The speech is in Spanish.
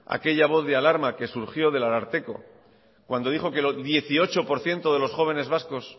aquella voz de alarma que surgió del ararteko cuando dijo que el dieciocho por ciento de los jóvenes vascos